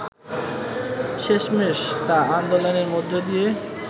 শেষমেষ তা আন্দোলনের মধ্য দিয়ে